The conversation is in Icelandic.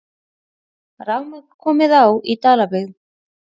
Rafmagn komið á í Dalabyggð